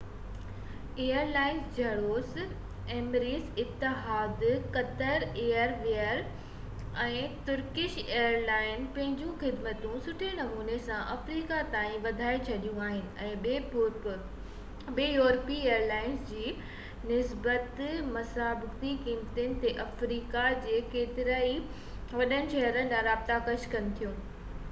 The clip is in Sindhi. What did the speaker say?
ايئر لائنز جهڙوڪ Emirates Etihad airways Qatar airways ۽ Turkish airlines پنهنجون خدمتون سٺي نموني سان افريقا تائين وڌائي ڇڏيون آهن ۽ ٻين يورپي ايئر لائنز جي نسبت مسابقتي قيمتن تي آفريڪا جي ڪيترن ئي وڏن شهرن ڏانهن رابطا پيش ڪن ٿيون